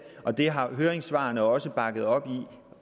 og det har høringssvarene også bakket op om